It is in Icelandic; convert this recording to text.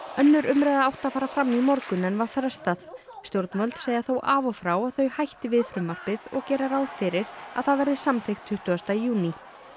önnur umræða átti að fara fram í morgun en var frestað stjórnvöld segja þó af og frá að þau hætti við frumvarpið og gera ráð fyrir að það verði samþykkt tuttugasta júní